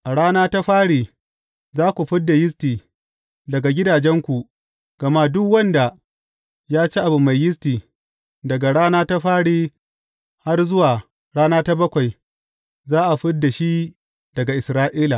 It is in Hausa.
A rana ta fari, za ku fid da yisti daga gidajenku gama duk wanda ya ci abu mai yisti daga rana ta fari har zuwa rana ta bakwai, za a fid da shi daga Isra’ila.